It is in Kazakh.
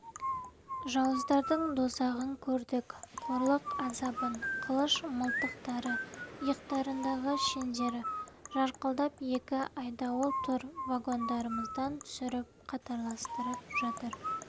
жауыздардың дозағын көрдік қорлық азабын қылыш-мылтықтары иықтарындағы шендері жарқылдап екі айдауыл тұр вагондарымыздан түсіріп қатарластырып жатыр